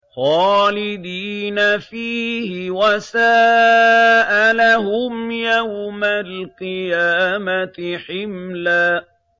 خَالِدِينَ فِيهِ ۖ وَسَاءَ لَهُمْ يَوْمَ الْقِيَامَةِ حِمْلًا